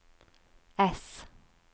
S